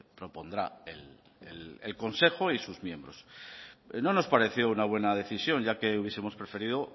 propondrá el consejo y sus miembros no nos pareció una buena decisión ya que hubiesemos preferido